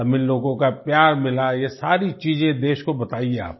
तमिल लोगों का प्यार मिला ये सारी चीजें देश को बताइये आप